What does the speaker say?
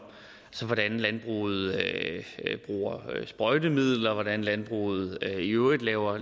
hvordan landbruget bruger sprøjtemidler hvordan landbruget i øvrigt laver